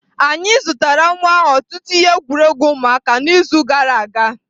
Anyị zụtara nwa ahụ ọtụtụ ihe egwuregwu ụmụaka n'izu gara aga.